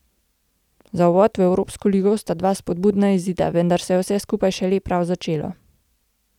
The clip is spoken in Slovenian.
Za uvod v evropsko ligo sta dva spodbudna izida, vendar se je vse skupaj šele prav začelo.